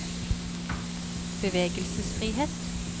bevegelsesfrihet